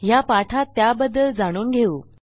ह्या पाठात त्याबद्दल जाणून घेऊ